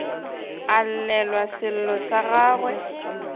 a llelwe sello sa gagwe